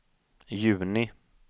juni